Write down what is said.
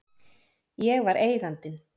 Ég var Eigandinn.